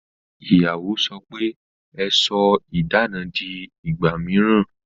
Ìyàwó sọ pe "Ẹ sọ idana di ìgbà mìíràn